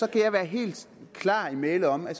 kan være helt klar i mælet om at